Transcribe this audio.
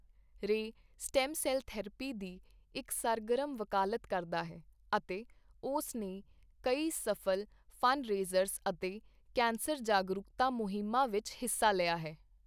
ਰੇ stem cell therapy ਦੀ ਇੱਕ ਸਰਗਰਮ ਵਕਾਲਤ ਕਰਦਾ ਹੈ ਅਤੇ ਉਸਨੇ ਕਈ ਸਫ਼ਲ ਫੰਡਰੇਜ਼ਰ ਅਤੇ ਕੈਂਸਰ ਜਾਗਰੂਕਤਾ ਮੁਹਿੰਮਾਂ ਵਿੱਚ ਹਿੱਸਾ ਲਿਆ ਹੈ।